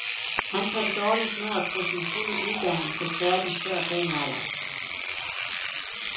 Han kan dårligt nå at få sin fulde uddannelse færdig før den alder.